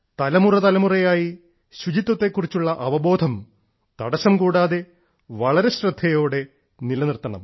തലമുറതലമുറയായി ശുചിത്വത്തെ കുറിച്ചുള്ള അവബോധം തടസ്സം കൂടാതെ വളരെ ശ്രദ്ധയോടെ നിലനിർത്തണം